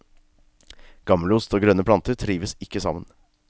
Gammelost og grønne planter trives ikke sammen.